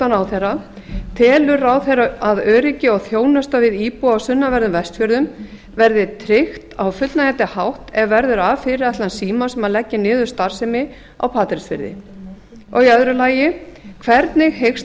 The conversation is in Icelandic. ráðherra fyrstu telur ráðherra að öryggi og þjónusta við íbúa á sunnanverðum vestfjörðum verði tryggt á fullnægjandi hátt ef verður af fyrirætlun símans um að leggja niður starfsemi á patreksfirði annars hvernig hyggst